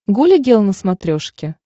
гуля гел на смотрешке